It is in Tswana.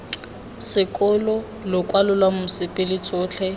sekolo lokwalo lwa mosepele tsotlhe